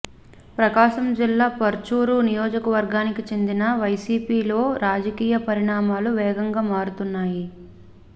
ప్రకాశం జిల్లా పర్చూరు నియోజకవర్గానికి చెందిన వైసీపీలో రాజకీయ పరిణామాలు వేగంగా మారుతున్నాయి